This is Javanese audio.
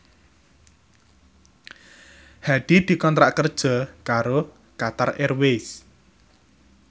Hadi dikontrak kerja karo Qatar Airways